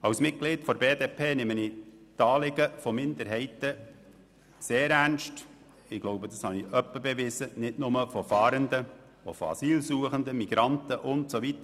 Als Mitglied der BDP nehme ich – das habe ich hin und wieder bewiesen – die Anliegen von Minderheiten sehr ernst, nicht nur diejenigen von Fahrenden, sondern ebenso von Asylsuchenden, Migranten usw.